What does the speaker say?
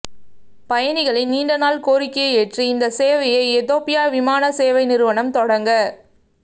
பயணிகளின் நீண்ட நாள் கோரிக்கையை ஏற்று இந்த சேவையை எதோப்பியா விமான சேவை நிறுவனம் தொடங்க